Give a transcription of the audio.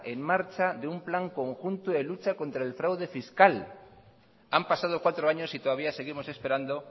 en marcha de un plan conjunto de lucha contra el fraude fiscal han pasado cuatro años y todavía seguimos esperando